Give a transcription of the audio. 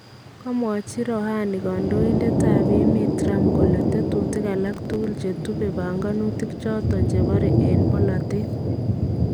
Kamwachi Rouhani kandoindetab emet Trump kole tetuutik alak tukul chetubee panganutik choton chebare en polateet